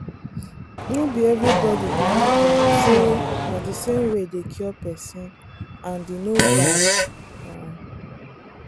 no be everybody believe um say na the same way dey cure person and e no bad. um